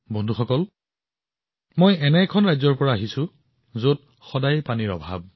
বন্ধুসকল মই এনে এখন ৰাজ্যৰ পৰা আহিছোঁ যত সদায়েই পানীৰ অভাৱ